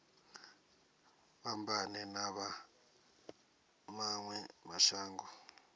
fhambane na vha mawe mashango